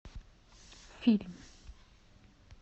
фильм